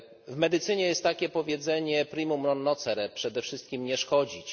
W medycynie jest takie powiedzenie primum non nocere przede wszystkim nie szkodzić.